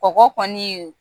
Kɔgɔ kɔniw